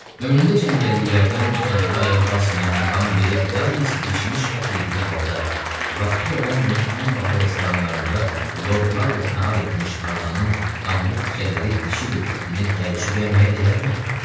Ömründə cəngəlliklərdən kənara ayaq basmayan Muqambe yalnız bişmiş ət yediyi halda vaxtilə Londonun ən bahalı restoranlarında lordlarla nahar etmiş Tarzanın qanlı tikələri dişi ilə dittinə təəccüblənməyə dəyərmi?